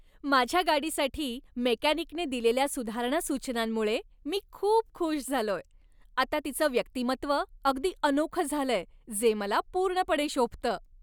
माझ्या गाडीसाठी मेकॅनिकने दिलेल्या सुधारणा सूचनांमुळे मी खूप खुश झालोय. आता तिचं व्यक्तिमत्व अगदी अनोखं झालंय जे मला पूर्णपणे शोभतं.